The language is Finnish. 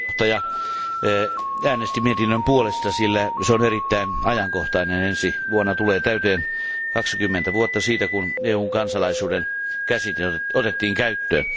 Arvoisa puhemies, äänestin mietinnön puolesta, sillä se on erittäin ajankohtainen. Ensi vuonna tulee täyteen 20 vuotta siitä, kun EUn kansalaisuuden käsite otettiin käyttöön.